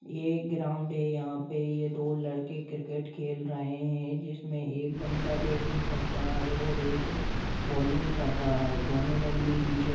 यह एक ग्राउड़ है यहा पे दो लड़के क्रिकेट खेल रहे है जिसमे एक बंदा बैटिंग कर रहा है और एक बॉलिंग कर रहा है दोनों ने ब्लू टीशर्ट--